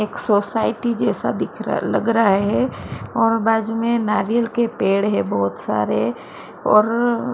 एक सोसाइटी जैसा दिख रहा लग रहा है और बाजू में नारियल के पेड़ है बहुत सारे और गा --